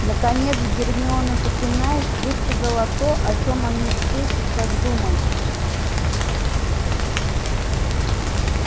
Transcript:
наконец гермиона запинаясь высказала то о чём они все сейчас думали